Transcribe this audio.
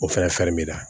O fɛnɛ b'i la